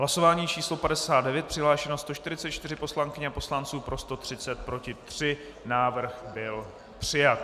Hlasování číslo 59, přihlášeno 144 poslankyň a poslanců, pro 130, proti 3, návrh byl přijat.